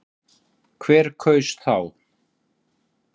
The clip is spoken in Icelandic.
Hver kaus þá?